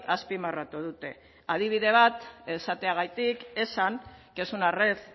azpimarratu dute adibide bat esateagatik esan que es una red